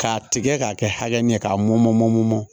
K'a tigɛ k'a kɛ hakɛ min ye k'a mɔmɔ mɔmmɔ